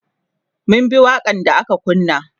mun bi waƙan da aka kunna